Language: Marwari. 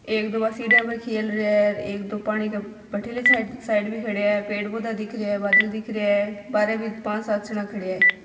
एक दो बा सिडिया पर खेल रहिया है एक दो पानी के बठीले साइड साइड भी खड्या है पेड़ पौधा दिख रहिया है बादल दिख रहिया है बारे भी पांच सात जना खड्या है।